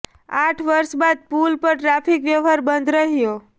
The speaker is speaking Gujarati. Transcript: આઠ વર્ષ બાદ પુલ પર ટ્રાફિક વ્યવહાર બંધ રહ્યો